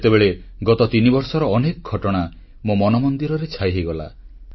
ସେତେବେଳେ ଗତ ତିନିବର୍ଷର ଅନେକ ଘଟଣା ମୋ ମନମନ୍ଦିରରେ ଛାଇ ହୋଇଗଲା